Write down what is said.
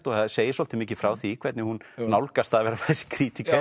og það segir svolítið mikið frá því hvernig hún nálgast það að vera þessi